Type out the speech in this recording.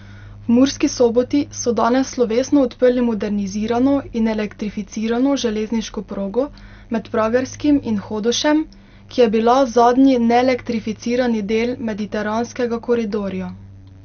V Murski Soboti so danes slovesno odprli modernizirano in elektrificirano železniško progo med Pragerskim in Hodošem, ki je bila zadnji neelektrificirani del mediteranskega koridorja.